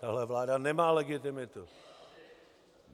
Tahle vláda nemá legitimitu.